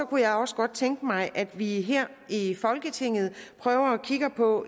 kunne jeg også godt tænke mig at vi her i folketinget prøver at kigge på